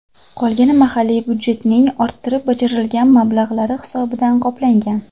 Qolgani mahalliy budjetning orttirib bajarilgan mablag‘lari hisobidan qoplangan.